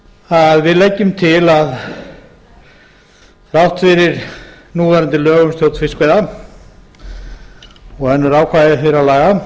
að við leggjum til að þrátt fyrir núverandi lög um stjórn fiskveiða og önnur ákvæði þeirra laga